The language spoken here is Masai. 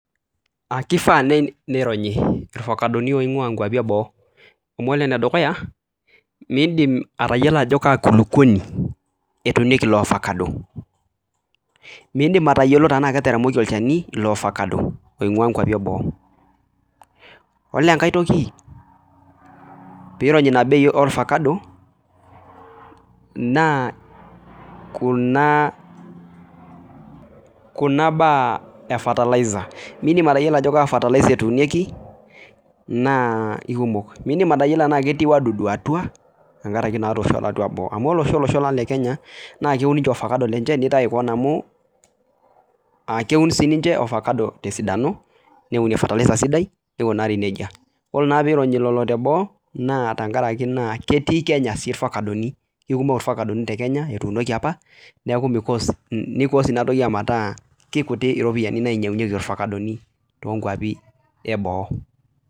keifaa nei nironyi irvacadoni oing'ua nkuapi e boo, amu ore ene dukuya atayiolo ajo kaa kulukuoni etuunieki ilo ofakado, miindim atayiolo tenaa ketaremoki olchani ilo ofakado oing'ua nkuapi e boo, yiolo enkae toki piironyi ina bei orfakado naa kuna kuna baa e fertiliser miindim atayiolo ajo kaa fertiliser etuunieki naa eikkumok, miindim atayiolo tenee ketii wadudu atua tengaraki naatosho tiatu boo, amu ore oshi olosho lang le kenya naa keun ninche orfakado lenche nitaiki koon amu keun sii ninche ofakado tesidano neunie fertiliser sidai neikunari nejia, ore na piironyi lelo teboo naa tenkaraki naa ketii kenya sii irfakadoni, ikumok irfakadoni te kenya etuunoki apa neeku mi course ni course ina toki ometaa kikuti iropiani nainyang'unyeki irfakadoni toonkwapi e boo.